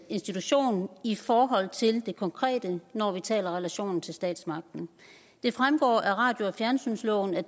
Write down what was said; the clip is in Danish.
institution i forhold til det konkrete når vi taler om relationen til statsmagten det fremgår af radio og fjernsynsloven at